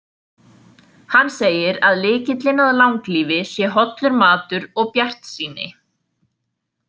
Hann segir að lykillinn að langlífi sé hollur matur og bjartsýni.